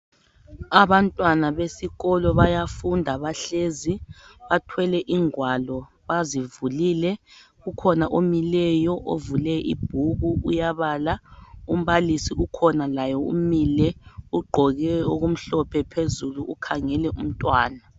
Abantwana besikolo bayafunda bahlezi bathwele izingwalo bazivulile ukhona omileyo ovule ibhuku uyabala umbalisi ukhona laye umile ugqoke okumhlophe phezulu ukhangele umntwana.